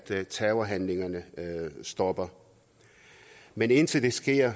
at terrorhandlingerne stopper men indtil det sker